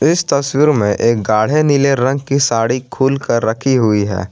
इस तस्वीर में एक गाड़े नीले रंग की साड़ी खोल कर रखी हुई है।